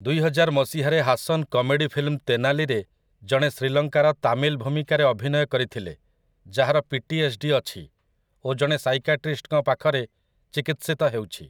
ଦୁଇହଜାର ମସିହାରେ Haasan comedy film 'ତେନାଲି'ରେ ଜଣେ ଶ୍ରୀଲଙ୍କାର ତାମିଲ୍ ଭୂମିକାରେ ଅଭିନୟ କରିଥିଲେ, ଯାହାର ପିଟିଏସ୍‌ଡି ଅଛି ଓ ଜଣେ ସାଇକାଟ୍ରିଷ୍ଟ୍‌ଙ୍କ ପାଖରେ ଚିକିତ୍ସିତ ହେଉଛି ।